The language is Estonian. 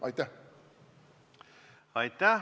Aitäh!